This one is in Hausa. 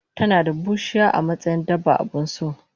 tanada bushiya amatsayin dabba abunso